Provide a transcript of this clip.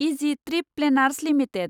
easy trip planners limited